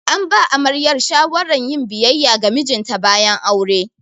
An ba amaryar shawaran yin biyayya ga mijinta bayan aure.